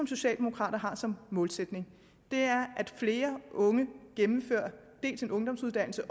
socialdemokrater har som målsætning er at flere unge gennemfører en ungdomsuddannelse